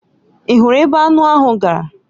Ị hụrụ ebe anụ ahụ gara?